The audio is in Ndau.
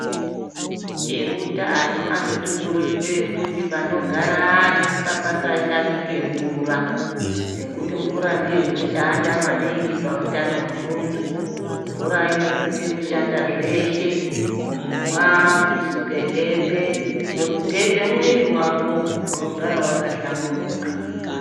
Eutano anotikurudzira kuti panogara antu ngapasatamike mvura ngekuti mvura ndiyo inoshanda maningi pautano hwemuntu mvura inosisa kushanda zveshe kumwa nekusuka hembe nekugeza mwiri wako unosisa kuva wakahlamburuka.